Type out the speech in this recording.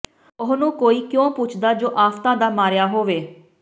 ਉਹਨੂੰ ਕੋਈ ਕਿਉਂ ਪੁੱਛਦਾ ਜੋ ਆਫ਼ਤਾਂ ਦਾ ਮਾਰਿਆ ਹੋਵੇ